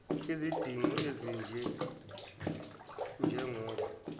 izidingo ezinje njengoba